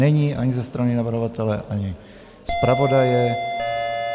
Není ani ze strany navrhovatele, ani zpravodaje.